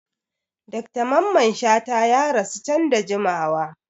Dr Mamman Shata ya rasuwa can da jimawa.